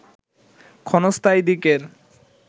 ক্ষণস্থায়ী দিকের